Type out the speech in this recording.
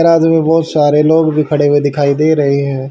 रात में बहोत सारे लोग भी खड़े हुए दिखाई दे रहे हैं।